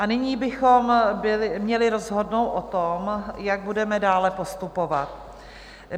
A nyní bychom měli rozhodnout o tom, jak budeme dále postupovat.